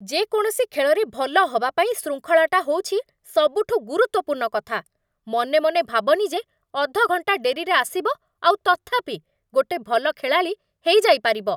ଯେକୌଣସି ଖେଳରେ ଭଲ ହବା ପାଇଁ ଶୃଙ୍ଖଳାଟା ହଉଛି ସବୁଠୁ ଗୁରୁତ୍ୱପୂର୍ଣ୍ଣ କଥା । ମନେମନେ ଭାବନି ଯେ ଅଧ ଘଣ୍ଟା ଡେରିରେ ଆସିବ ଆଉ ତଥାପି ଗୋଟେ ଭଲ ଖେଳାଳି ହେଇଯାଇପାରିବ ।